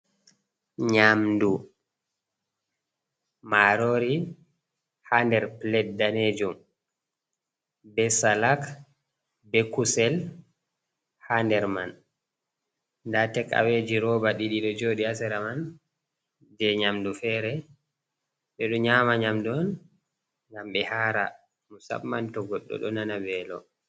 Nyaamdu maaroori haa nder pilet daneejum, be salak, be kusel haa nder man. Ndaa tek’aweeji rooba ɗiɗi ɗo jooɗi, haa sera man, jey nyaamdu feere. Ɓe ɗo nyaama nyaamdu on, ngam ɓe haara, musamman to goɗɗo ɗo nana veelo.